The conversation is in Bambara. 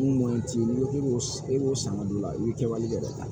Mun t'i b'o san ka don la i bi kɛ tan